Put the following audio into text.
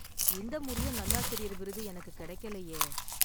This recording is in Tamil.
இந்த முறையும் நல்லாசிரியர் விருது எனக்குக் கிடைக்கலையே.